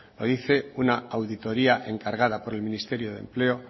lo dice una auditoría encargada por el ministerio de empleo